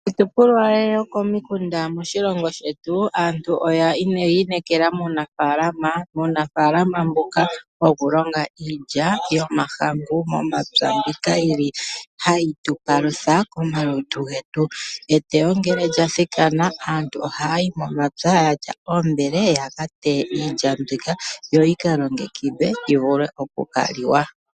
Kiitopolwa yokomikunda moshilongo shetu aantu oyi inekela muunafaalama, muunafaalama mboka wokulonga iilya yomahangu momapya mbyoka yili hayi tu palutha komalutu getu. Eteyo ngele lya thikana aantu ohaya yi momapya yatya oombele ya ka teye iilya mbika yo yika longekidhwe yi vule oku ka liwa.